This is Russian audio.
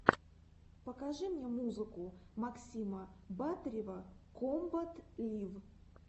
покажи мне музыка максима батырева комбат лив